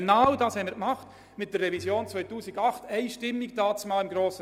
Genau das haben wir damals einstimmig im Grossen Rat mit der Revision 2008 beschlossen.